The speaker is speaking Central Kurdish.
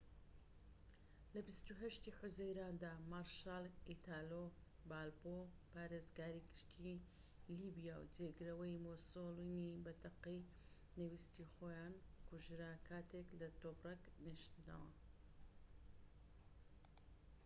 لە ٢٨ حوزەیراندا، مارشال ئیتالۆ بالبۆ پارێزگاری گشتیی لیبیا و جێگرەوەی مۆسۆلینی بە تەقەی نەویستی خۆیان کوژرا کاتێك لە تۆبرەک نیشتەوە